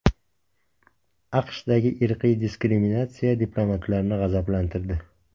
AQShdagi irqiy diskriminatsiya diplomatlarni g‘azablantirdi.